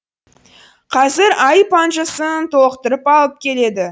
қазір айып анжысын толықтырып алып келеді